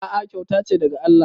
A'a kyauta ce daga Allah